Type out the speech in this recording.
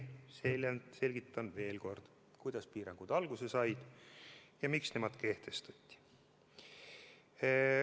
Meeleldi selgitan veel kord, kuidas piirangud alguse said ja miks need kehtestati.